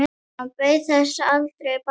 Hann beið þess aldrei bætur.